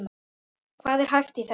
Hvað er hæft í þessu?